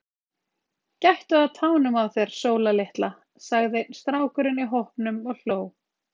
Gættu að tánum á þér Sóla litla, sagði einn strákurinn í hópnum og hló.